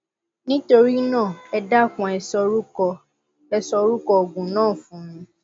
nítorí náà ẹ dákun ẹ sọ orúkọ ẹ sọ orúkọ òògùn náà fún mi